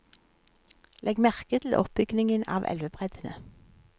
Legg merke til oppbygningen av elvebreddene.